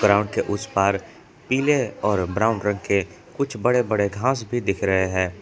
Ground के उस पार पीले और ब्राउन रंग के कुछ बड़े बड़े घास भी दिख रहे हैं।